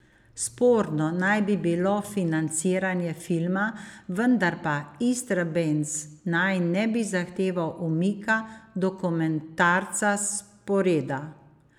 Sporno naj bi bilo financiranje filma, vendar pa Istrabenz naj ne bi zahteval umika dokumentarca s sporeda.